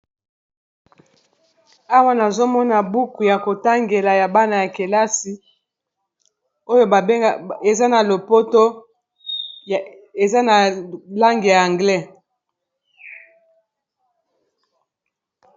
Awa nazo mona buku ya ko tangela ya bana ya kelasi, oyo eza na lopoto eza na langue ya anglais.